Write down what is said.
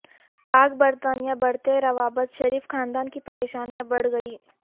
پاک برطانیہ بڑھتے روابط شریف خاندان کی پریشانیاں بڑ ھ گئیں